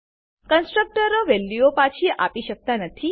કન્સ્ટ્રકટરો વેલ્યુઓ પાછી આપી શકતા નથી